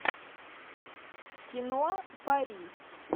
кино пари